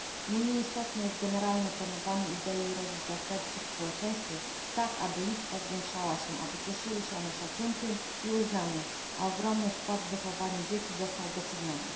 Nie mniej istotne jest generalne promowanie idei rodzin zastępczych w społeczeństwie tak, aby ich liczba zwiększała się, aby cieszyły się one szacunkiem i uznaniem, a ogromny wkład w wychowanie dzieci został doceniony.